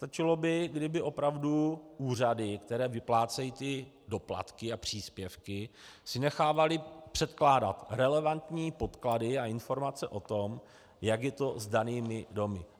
Stačilo by, kdyby opravdu úřady, které vyplácejí ty doplatky a příspěvky, si nechávaly předkládat relevantní podklady a informace o tom, jak je to s danými domy.